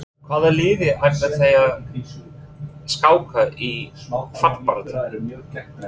Hvaða liði ætla þeir að skáka í fallbaráttunni?